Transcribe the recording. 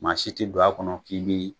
Maa si ti don a kɔnɔ k'i bi.